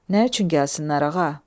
Nə üçün gəlsinlər ağa?